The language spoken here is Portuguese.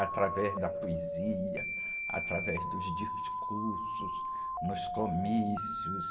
Através da poesia, através dos discursos, nos comícios.